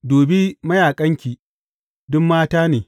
Dubi mayaƙanki, duk mata ne!